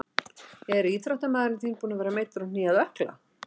Er íþróttamaður þinn búinn að vera meiddur á hné eða ökkla?